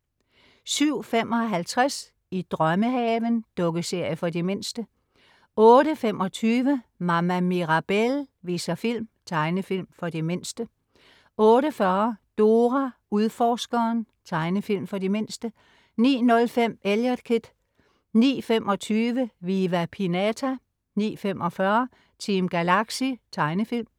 07.55 I drømmehaven. Dukkeserie for de mindste 08.25 Mama Mirabelle viser film. Tegnefilm for de mindste 08.40 Dora Udforskeren. Tegnefilm for de mindste 09.05 Eliot Kid 09.25 Viva Pinata 09.45 Team Galaxy. Tegnefilm